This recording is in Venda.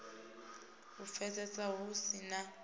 u pfesesea hu si na